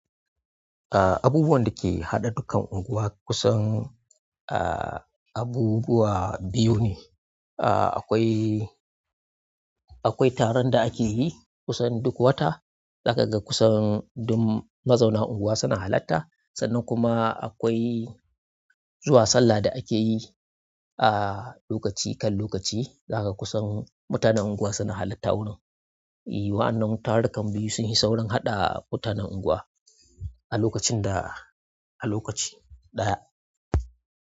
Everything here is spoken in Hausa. Abubuwan da ke haɗa dukkan unguwa kusan abubuwa biyu ne. Akwai, akwai taron da ake yi kusan duk wata, za ka ga kusan duk mazauna unguwa suna halarta. Sannan kuma akwai zuwa sallah da ake yi lokaci kan lokaci, za ka ga kusan mutanen unguwa suna halarta wurin. I wa'annan tarukan biyu sun hi saurin haɗa mutanen unguwa a lokacin da, a lokaci ɗaya.